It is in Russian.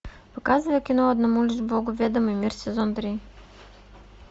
показывай кино одному лишь богу ведомый мир сезон три